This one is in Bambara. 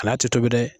A n'a tɛ tobi dɛ